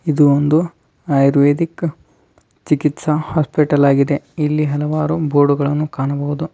ಇದು ಒಂದು ಆಯುರ್ವೇದಿಕ್ ಚಿಕಿತ್ಸಾ ಹಾಸ್ಪಿಟಲ್ ಆಗಿದೆ ಎಲ್ಲಿ ಹಲವಾರು ಬೋರ್ಡ್ ಗಳನ್ನು ಕಾಣಬಹುದು.